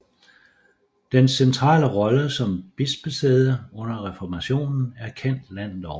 Dens centrale rolle som bispesæde under reformationen er kendt landet over